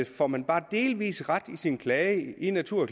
får man bare delvis ret i sin klage i natur